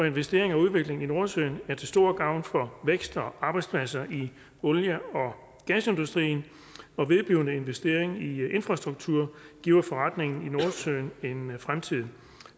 investering og udvikling i nordsøen er til stor gavn for vækst og arbejdspladser i olie og gasindustrien og vedblivende investering i infrastruktur giver forretningen i nordsøen en fremtid